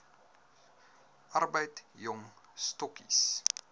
arbeid jong stokkies